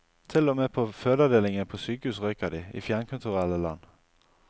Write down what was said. Til og med på fødeavdelingen på sykehus røyker de, i fjernkulturelle land.